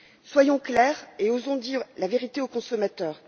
Soyons clairs et osons dire la vérité aux consommateurs.